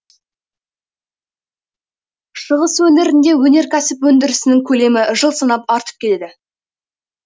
шығыс өңірінде өнеркәсіп өндірісінің көлемі жыл санап артып келеді